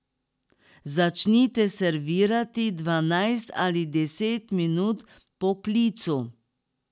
Začnite servirati dvanajst ali deset minut po klicu.